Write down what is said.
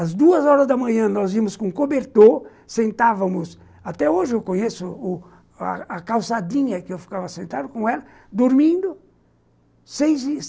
Às duas horas da manhã, nós íamos com cobertor, sentávamos... Até hoje eu conheço o a a calçadinha que eu ficava sentado com ela, dormindo, seis e